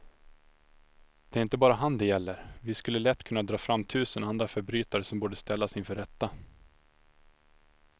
Det är inte bara han det gäller, vi skulle lätt kunna dra fram tusen andra förbrytare som borde ställas inför rätta.